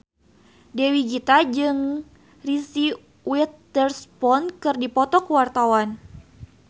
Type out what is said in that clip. Dewi Gita jeung Reese Witherspoon keur dipoto ku wartawan